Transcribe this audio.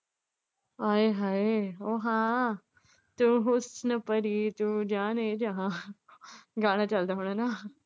ਆਏ ਹਾਏ ਓ ਹਾਂ ਤੂੰ ਹੁਸਨ ਪਰੀ ਤੂੰ ਜਾਨੇ ਜਹਾਂ ਗਾਣਾ ਚੱਲਦਾ ਹੋਣਾ ਨਾ।